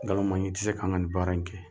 Nkalon maɲi i tɛ se k'an ka nin baara in kɛ